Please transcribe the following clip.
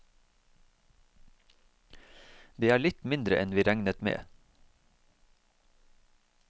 Det er litt mindre enn vi regnet med.